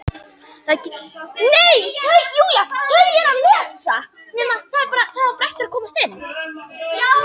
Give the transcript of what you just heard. Það geti reynt á sjálfstraustið